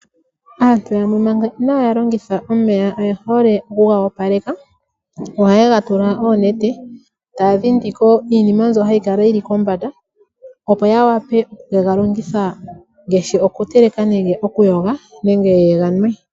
Aantu yamwe manga inaya longitha omeya oye hole okuga opaleka. Ohaye ga tula oonete taa dhindi ko iinima mbyono hayi kala yi li kombanda opo ya wape oku ke ga longitha ngaashi okutekela nenge okuyoga nenge ye ga nwe.